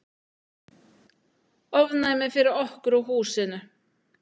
Ofnæmi fyrir okkur og húsinu!